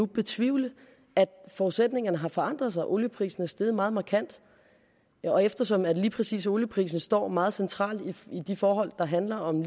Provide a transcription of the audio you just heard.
betvivle at forudsætningerne har forandret sig at olieprisen er steget meget markant og eftersom at lige præcis olieprisen står meget centralt i de forhold der handler om